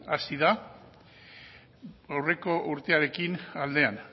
hasi da aurreko urtearekin aldean